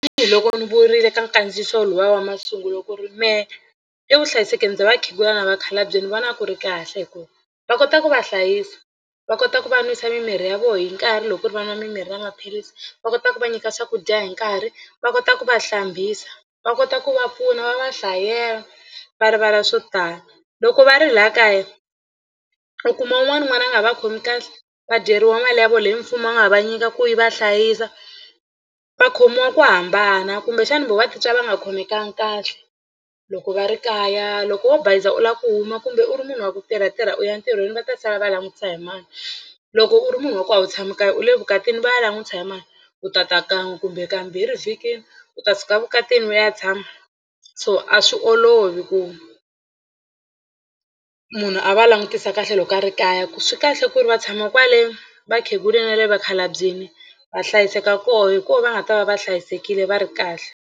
Tanihiloko ni vurile ka nkandziyiso luya wa masungulo ku ri mehe evuhlayisekeni bya vakhegula na vakhalabye ni vona ku ri kahle hi ku va kota ku va hlayisa va kota ku va nwisa mimirhi ya vona hi nkarhi loko ku ri va nwa mimirhi na maphilisi. Va kota ku va nyika swakudya hi nkarhi va kota ku va hlambisa va kota ku va pfuna va va hlayela va rivala swo tala. Loko va ri laha kaya u kuma un'wana n'wana a nga va khomi kahle va dyeriwa mali ya vona leyi mfumo a nga va nyika ku yi va hlayisa va khomiwa ku hambana kumbexana voho va titwa va nga khomekangi kahle loko va ri kaya. Loko wo bayiza u lava ku huma kumbe u ri munhu wa ku tirhatirha u ya ntirhweni va ta sala va langutisa hi mani loko u ri munhu wa ku a wu tshami kaya u le evukatini va ya langutisa hi mani u tata kan'we kumbe kambirhi vhikini u ta suka vukatini u ya tshama so a swi olovi ku munhu a va langutisa kahle loko a ri kaya ku swi kahle ku ri va tshama kwale vakhegula na vakhalabyini va hlayiseka kona hi kona va nga ta va va hlayisekile va ri kahle.